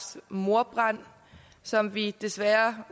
mordbrand som vi desværre